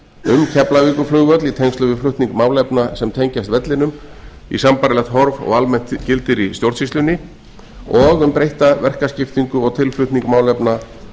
um keflavíkurflugvöll í tengslum við flutning málefna sem tengjast vellinum í sambærilegt horf og almennt gildir í stjórnsýslunni og um breytta verkaskiptingu og tilflutning málefna